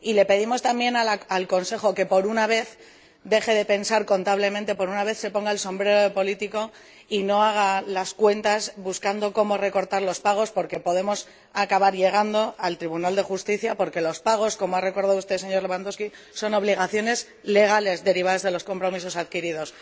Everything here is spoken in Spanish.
Y le pedimos también al Consejo que, por una vez, deje de pensar como un contable, que, por una vez, se ponga el sombrero de político y no haga las cuentas buscando cómo recortar los pagos, porque podemos acabar llegando al Tribunal de Justicia, ya que los pagos, como ha recordado usted, señor Lewandowski, son obligaciones legales derivadas de los compromisos adquiridos.